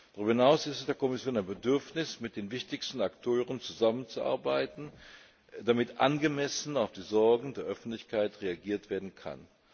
Darüber hinaus ist es der Kommission ein Bedürfnis, mit den wichtigsten Akteuren zusammenzuarbeiten, damit angemessen auf die Sorgen der Öffentlichkeit reagiert werden kann.